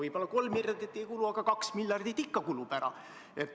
Võib-olla 3 miljardit ära ei kulu, aga 2 miljardit ikka kulub.